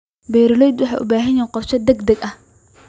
Beeraleydu waxay u baahan yihiin qorshe degdeg ah.